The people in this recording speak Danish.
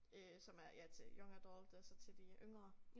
Øh som er ja til Young Adult altså til de yngre